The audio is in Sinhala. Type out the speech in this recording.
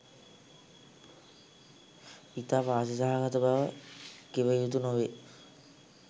ඉතා වාසි සහගත බව කිවයුතු නොවේ